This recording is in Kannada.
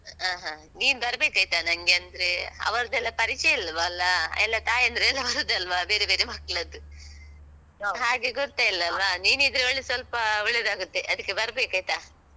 ಹಾ, ಹ. ನೀನ್ ಬರ್ಬೇಕಾಯ್ತ, ನಂಗೆ ಅಂದ್ರೆ ಅವ್ರದ್ದೆಲ್ಲ ಪರಿಚಯ ಇಲ್ವಲ್ಲ? ಎಲ್ಲ ತಾಯಂದಿರು ಎಲ್ಲ ಬರುದಲ್ವ? ಬೇರೆ ಬೇರೆ ಮಕ್ಕ್ಳದ್ದು ಹಾಗೆ ಗುರ್ತೆ ಇಲ್ಲಲ್ಲ? ನೀನಿದ್ರೆ ಒಳ್ಳೇ, ಸ್ವಲ್ಪ ಒಳ್ಳೇದಾಗುತ್ತೆ. ಅದಕ್ಕೆ ಬರ್ಬೇಕಾಯ್ತ?